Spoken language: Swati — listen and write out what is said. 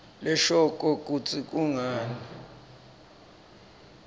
leshoko kutsi kungani